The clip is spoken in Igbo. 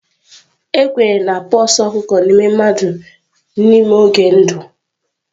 A kwenyere na pox ọkụkọ na-eme mmadụ n'ime oge ndụ.